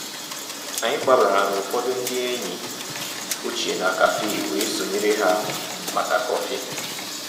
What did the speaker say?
Ànyị́ gbabàrà ná ụ̀fọ̀dụ̀ ndí ényí òchie ná cafe wéé sonyéré há màkà kọ́fị̀.